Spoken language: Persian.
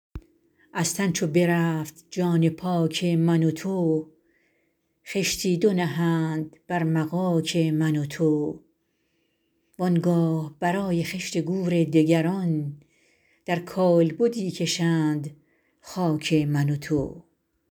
از تن چو برفت جان پاک من و تو خشتی دو نهند بر مغاک من و تو وآنگاه برای خشت گور دگران در کالبدی کشند خاک من و تو